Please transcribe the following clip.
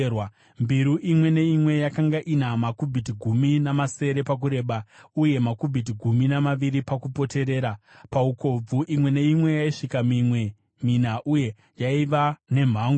Mbiru imwe neimwe yakanga ina makubhiti gumi namasere pakureba uye makubhiti gumi namaviri pakupoterera; paukobvu imwe neimwe yaisvika minwe mina uye yaiva nemhango.